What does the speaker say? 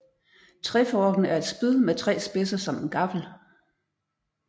Treforken er et spyd med tre spidser som en gaffel